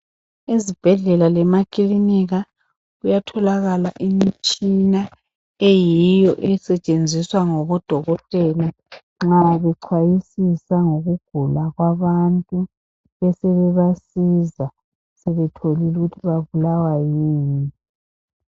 Ezibhedlela lemakilinika kuyatholakala imitshina eyiyo esetshenziswa ngabodokotela nxa bechwayisisa ngokugula kwabantu besebebasiza sebethotholile ukuthi babulawa yini